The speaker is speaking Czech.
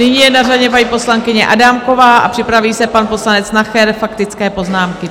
Nyní je na řadě mají poslankyně Adámková a připraví se pan poslanec Nacher - faktické poznámky.